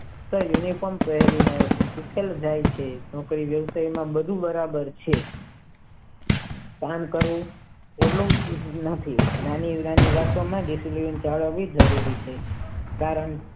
તે વિવેચન પહેરી ને આવે છે બાકી બધું બરાબર છે સહન કરવું આનું પરિણામ સારું આવે સી હે નાની નાની વાત માટે જરૂરી છે કારણ.